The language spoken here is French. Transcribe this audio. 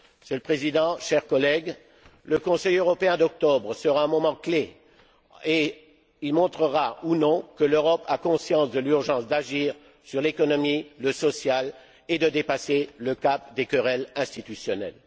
Monsieur le Président, chers collègues, le Conseil européen d'octobre sera un moment clé et il montrera, ou non, que l'Europe a conscience de l'urgence d'agir sur l'économie, le social, et de dépasser le cap des querelles institutionnelles.